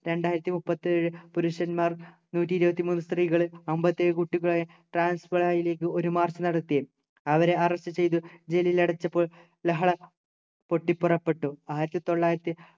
രണ്ടായിരത്തി മുപ്പത്തിയേഴു പുരുഷന്മാർ നൂറ്റി ഇരുപത്തി മൂന്നു സ്ത്രീകൾ അമ്പത്തേഴു കുട്ടികളെ ലേക്ക് ഒരു march നടത്തി അവരെ arrest ചെയ്ത് ജയിലിലടച്ചപ്പോൾ ലഹള പൊട്ടിപുറപ്പെട്ടു ആയിരത്തിത്തൊള്ളായിരത്തി